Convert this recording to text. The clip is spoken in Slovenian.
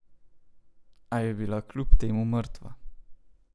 A je bila kljub temu mrtva.